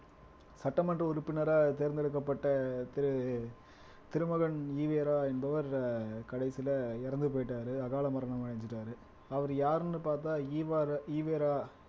சட்டமன்ற உறுப்பினரா தேர்ந்தெடுக்கப்பட்ட திரு திருமகன் ஈவேரா என்பவர் கடைசியில இறந்து போயிட்டாரு அகால மரணம் அடைஞ்சுட்டாரு அவர் யாருன்னு பார்த்தா ஈவர ஈவேரா